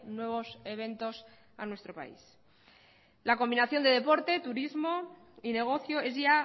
nuevos eventos a nuestro país la combinación de deporte turismo y negocio es ya